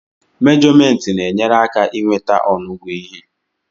mèjọmèntị na-enyere aka i nweta ọnụgụ ihe